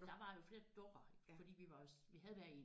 der var jo flere dukker fordi vi var vi havde hver én